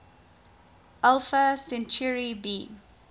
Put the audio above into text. alpha centauri b